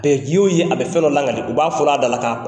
ye o ye a bɛ fɛn dɔ lankali u b'a fɔ la a dalakan